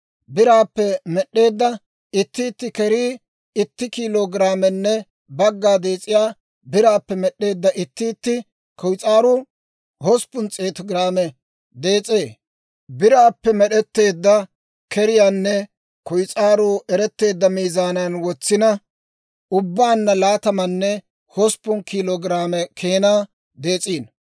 biraappe med'd'eedda itti itti kerii itti kiilo giraamenne bagga dees'ee; biraappe med'd'eedda itti itti kuyis'aaruu hosppun s'eetu giraame dees'ee; biraappe med'etteedda keriyaanne kuyis'aaruu eretteedda miizaanan wotsina, ubbaanna laatamanne hosppun kiilo giraame keenaa dees'iino.